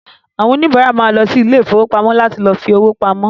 Àwọn òníbárà ma lọ sí ilé ìfowópamọ́ láti lọ fi owó pamọ́